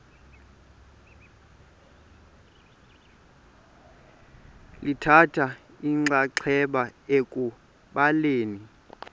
lithatha inxaxheba ekubhaleni